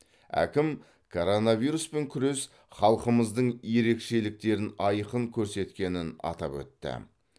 әкім коронавируспен күрес халқымыздың ерекшеліктерін айқын көрсеткенін атап өтті